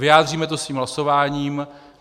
Vyjádříme to svým hlasováním.